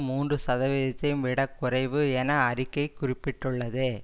மூன்று சதவீதத்தையும் விட குறைவு என அறிக்கை குறிப்பிட்டுள்ளது